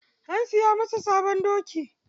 An siya masa sabon doki.